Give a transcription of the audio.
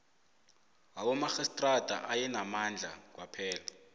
wabomarhistrada ayenamandla kwaphela